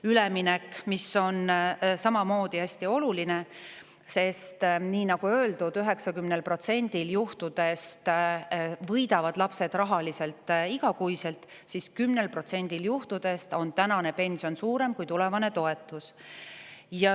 Üleminek on samamoodi hästi oluline, sest nagu öeldud, 90%‑l juhtudest võidavad lapsed rahaliselt igakuiselt, aga 10%-l protsendil juhtudest on praegune pension suurem kui tulevane toetus.